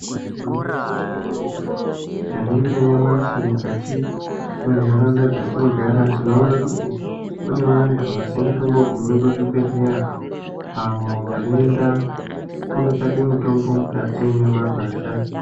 Igwinyiso remene-mene tikaningira nyamashi mukati mentaraunda dzatinogara tinoona kuti kune vantu vasingatombogumi kuzvibhadhlera, avo vanoende kotsvake mitombo mukati memagwasha.